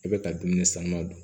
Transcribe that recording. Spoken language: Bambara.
I bɛ ka dumuni sanuya dun